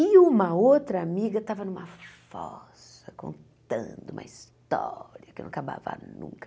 E uma outra amiga estava numa fossa, contando uma história que eu não acabava nunca.